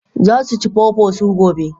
Za su ci pawpaw su gobe.